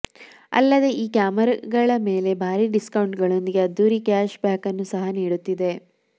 ಅಲ್ಲದೆ ಈ ಕ್ಯಾಮೆರಾಗಳ ಮೇಲೆ ಭಾರಿ ಡಿಸ್ಕೌಂಟ್ಗಳೊಂದಿಗೆ ಅದ್ದೂರಿಯ ಕ್ಯಾಶ್ ಬ್ಯಾಕನ್ನು ಸಹ ನೀಡುತ್ತಿದೆ